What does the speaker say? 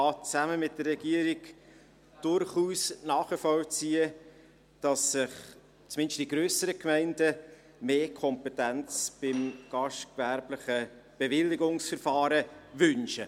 Ich kann zusammen mit der Regierung durchaus nachvollziehen, dass sich zumindest die grösseren Gemeinden mehr Kompetenzen bei gastgewerblichen Bewilligungsverfahren wünschen.